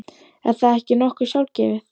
Er það ekki nokkuð sjálfgefið?